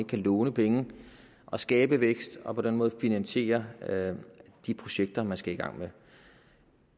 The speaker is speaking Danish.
kan låne penge og skabe vækst og på den måde finansiere de projekter man skal i gang med